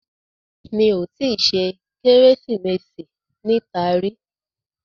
Mi ò tí ì ṣe Kérésìmesì níta rí